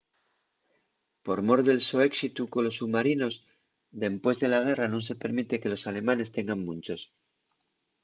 por mor del so éxitu colos submarinos dempués de la guerra nun se permite que los alemanes tengan munchos